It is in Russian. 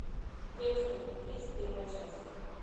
декстеры тридцать первая часть